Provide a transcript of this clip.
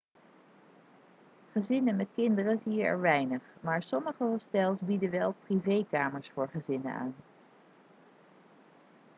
gezinnen met kinderen zie je er weinig maar sommige hostels bieden wel privékamers voor gezinnen aan